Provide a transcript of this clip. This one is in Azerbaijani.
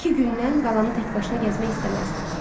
İki gündən qalanı təkbaşına gəzmək istəməzdim.